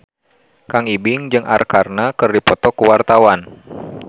Kang Ibing jeung Arkarna keur dipoto ku wartawan